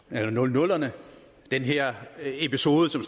nullerne den her episode som